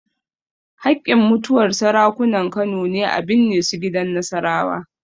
Haƙƙin mutuwar Sarakunan Kano ne a binne su gidan Nasarawa.